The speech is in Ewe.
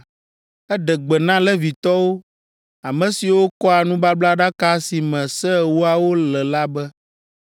eɖe gbe na Levitɔwo, ame siwo kɔa nubablaɖaka si me Se Ewoawo le la be,